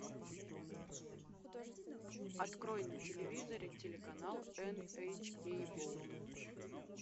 открой на телевизоре телеканал эн эйч кей волд